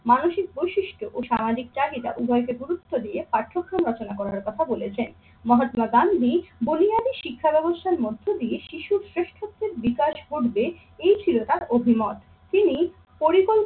মানসিক বৈশিষ্ট্য ও সামাজিক চাহিদা উভয়কে গুরুত্ব দিয়ে পাঠ্যক্রম রচনা করার কথা বলেছেন। মহাত্মা গান্ধী বুনিয়াদি শিক্ষাব্যবস্থার মধ্য দিয়ে শিশুর শ্রেষ্ঠত্বের বিকাশ ঘটবে এই ছিল তার অভিমত। তিনি